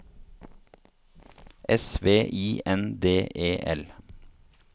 S V I N D E L